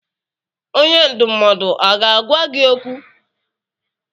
Onye ndụmọdụ aga-agwa gị okwu?